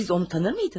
Siz onu tanıyırdınızmı?